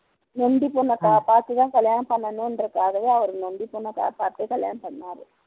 நொண்டி பொண்ணைபாத்துதான் கல்யாணம் பண்ணணுன்றதுக்காகவே அவர் நொண்டி பொண்ணைகல்யாணம் பண்ணுனார்